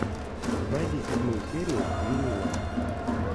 найди седьмую серию винила